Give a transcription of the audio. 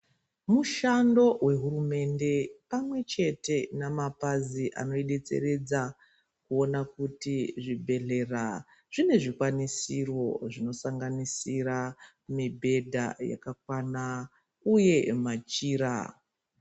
Mushando wehurumende pamwechete namapazi anoidetseredza kuona kuti zvibhedhlera zvine zvikwanisiro zvinosanganisira mibhedha yakakwana uye machira.